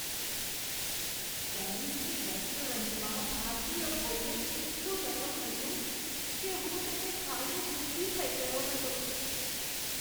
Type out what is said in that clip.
પેરિસની રેસ્ટોરન્ટમાં ભારતીય ભોજન એટલું નરમ હતું કે હું તેને ખાઈને દુઃખી થઈ ગયો હતો.